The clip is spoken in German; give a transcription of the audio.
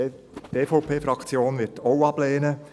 Die EVP-Fraktion wird auch ablehnen.